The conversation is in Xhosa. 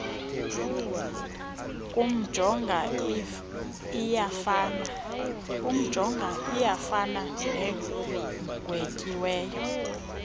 kumjonga iyafana negwetyiweyo